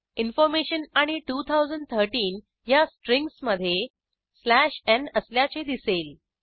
information आणि 2013 ह्या स्ट्रिंग्जमधे स्लॅश न् असल्याचे दिसेल